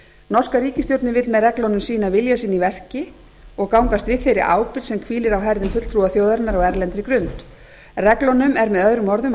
norska ríkisstjórnin vill með reglunum sýna vilja sinn í verki og gangast við þeirri ábyrgð sem hvílir á herðum fulltrúa þjóðarinnar á erlendri grund reglunum er möo ætlað